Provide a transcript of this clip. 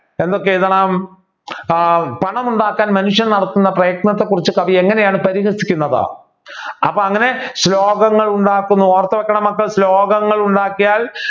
എന്തൊക്കെ എഴുതണം ഏർ പണം ഉണ്ടാക്കാൻ മനുഷ്യർ നടത്തുന്ന പ്രയത്നത്തെക്കുറിച്ച് കവി എങ്ങനെയാണ് പരിഹസിക്കുന്നത് അപ്പൊ അങ്ങനെ ശ്ലോകങ്ങൾ ഉണ്ടാക്കുന്നു ഓർത്തു വെക്കണം മക്കളെ ശ്ലോകങ്ങൾ ഉണ്ടാക്കിയാൽ